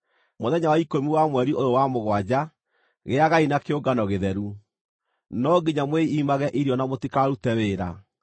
“ ‘Mũthenya wa ikũmi wa mweri ũyũ wa mũgwanja, gĩagai na kĩũngano gĩtheru. No nginya mwĩimage irio na mũtikarute wĩra.